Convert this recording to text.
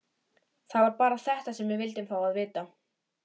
Það var bara þetta sem við vildum fá að vita.